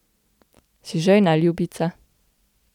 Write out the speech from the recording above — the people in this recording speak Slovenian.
Si žejna, ljubica?